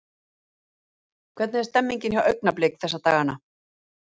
Hvernig er stemningin hjá Augnablik þessa dagana?